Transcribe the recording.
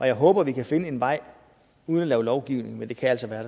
jeg håber at vi kan finde en vej uden at lave lovgivning men det kan altså være